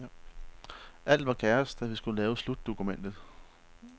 Alt var kaos, da vi skulle lave slutdokumentet.